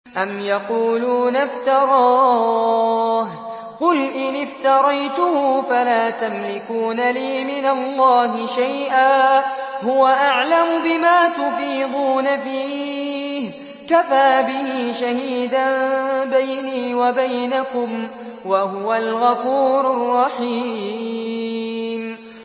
أَمْ يَقُولُونَ افْتَرَاهُ ۖ قُلْ إِنِ افْتَرَيْتُهُ فَلَا تَمْلِكُونَ لِي مِنَ اللَّهِ شَيْئًا ۖ هُوَ أَعْلَمُ بِمَا تُفِيضُونَ فِيهِ ۖ كَفَىٰ بِهِ شَهِيدًا بَيْنِي وَبَيْنَكُمْ ۖ وَهُوَ الْغَفُورُ الرَّحِيمُ